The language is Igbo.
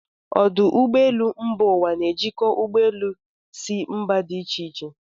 Ọdụ ụgbọelụ mba ụwa na-ejikọ ụgbọ elu si mba dị ịche ịche.